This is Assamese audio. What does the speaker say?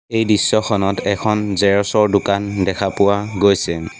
এই দৃশ্যখনত এখন জেৰক্স ৰ দোকান দেখা পোৱা গৈছে।